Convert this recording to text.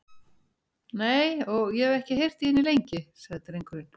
Nei, og ég hef ekki heyrt í henni lengi, sagði drengurinn.